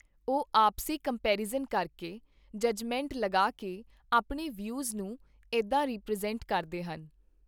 ਉਹ ਆਪਸੀ ਕੰਮਪੈਰੀਜ਼ਨ ਕਰਕੇ, ਜੱਜਮੈਂਟ ਲਗਾ ਕੇ ਆਪਣੇ ਵਿਊਜ਼ ਨੂੰ ਇੱਦਾਂ ਰੀਪ੍ਰਜੈਂਟ ਕਰਦੇ ਹਨ